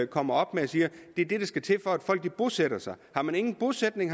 kommer op med og siger er det der skal til for at folk bosætter sig har man ingen bosætning